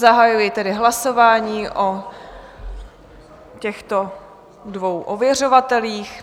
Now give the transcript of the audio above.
Zahajuji tedy hlasování o těchto dvou ověřovatelích.